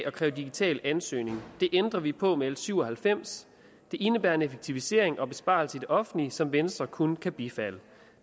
at kræve digital ansøgning det ændrer vi på med l syv og halvfems det indebærer en effektivisering og besparelse i den offentlige som venstre kun kan bifalde